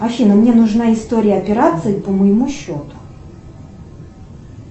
афина мне нужна история операций по моему счету